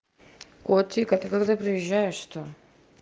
котик а ты когда приезжаешь то